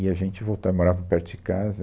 E a gente voltava, morava perto de casa.